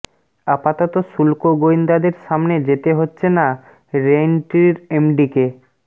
আপাতত শুল্ক গোয়েন্দাদের সামনে যেতে হচ্ছে না রেইনট্রির এমডিকে